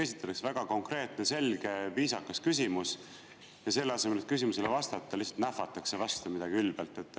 Esitatakse väga konkreetne, selge, viisakas küsimus, aga selle asemel, et küsimusele vastata, lihtsalt nähvatakse midagi ülbelt vastu.